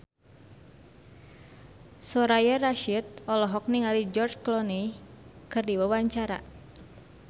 Soraya Rasyid olohok ningali George Clooney keur diwawancara